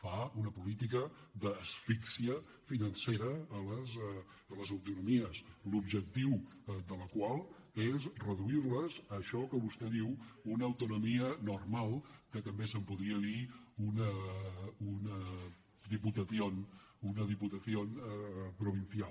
fa una política d’asfíxia finance·ra a les autonomies l’objectiu de la qual és reduir·les a això que vostè en diu una autonomía normal que també se’n podria dir una diputación provincial